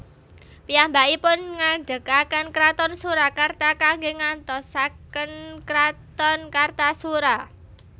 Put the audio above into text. Piyambakipun ngadegaken kraton Surakarta kanggé nggantosaken kraton Kartasura